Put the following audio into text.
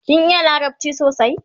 kin iya larabci sosai?